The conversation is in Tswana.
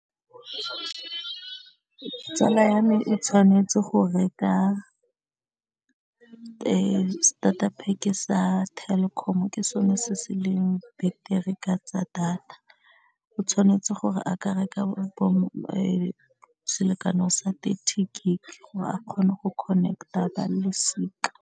Tsala ya me e tshwanetse go reka starter pack-e sa Telkom ke sone se se leng betere ka tsa data, o tshwanetse gore a ka reka selekano sa thirty gig gore a kgone go connect-a ba losika.